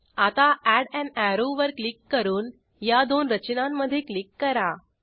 आता add an arrow वर click करून या दोन रचनांमधे क्लिक करा